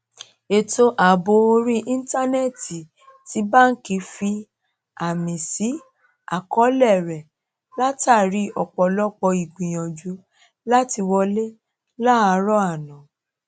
ètò ààbò orí íńtánẹẹtì ti báńkì fi àmì sí àkọọlẹ rẹ látàrí ọpọlọpọ ìgbìyànjú làti wọlé láàárọ àná